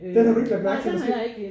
Den har du ikke lagt mærke til måske?